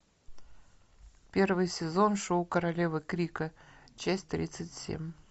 первый сезон шоу королевы крика часть тридцать семь